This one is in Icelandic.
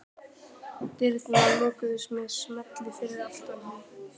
Dyrnar lokuðust með smelli fyrir aftan hann.